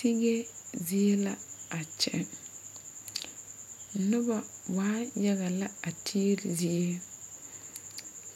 Tigi zie la a kyɛ noba waa yaga lɛ a tigri zie